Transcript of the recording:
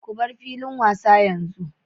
Ku bar filin wasa yanzu!